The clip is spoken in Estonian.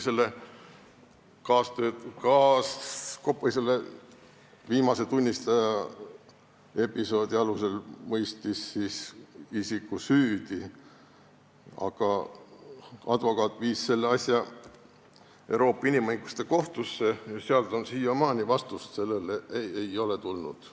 See kohtunik mõistis selle viimase tunnistaja ütluste alusel isiku muidugi süüdi, aga advokaat viis selle asja Euroopa Inimõiguste Kohtusse ja seal on see siiamaani, vastust ei ole tulnud.